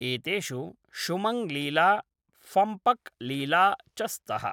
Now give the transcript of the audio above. एतेषु शुमङ्ग् लीला, फम्पक लीला च स्तः।